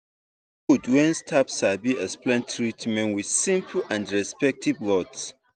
e good when staff sabi explain treatment with simple and respectful words.